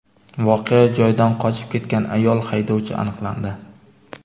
voqea joyidan qochib ketgan ayol haydovchi aniqlandi.